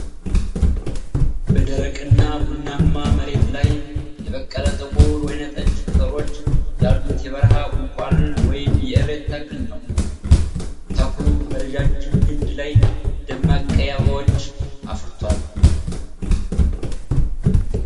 በደረቅና ቡናማ መሬት ላይ የበቀለ ጥቁር ወይንጠጅ ቅጠሎች ያሉት የበረሃ ቁልቋል ወይም የእሬት ተክል ነው። ተክሉ በረጅም ግንድ ላይ ደማቅ ቀይ አበባዎች አፍርቷል።